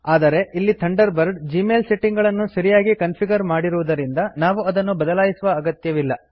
ಆದರೆ ಇಲ್ಲಿ Thunderbird Gmail setting ಗಳನ್ನು ಸರಿಯಾಗಿ ಕನ್ಫಿಗರ್ ಮಾಡಿರುದರಿಂದ ನಾವು ಅದನ್ನು ಬದಲಾಯಿಸುವ ಅಗತ್ಯವಿಲ್ಲ